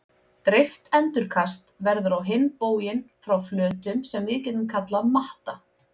Dreift endurkast verður á hinn bóginn frá flötum sem við getum kallað matta.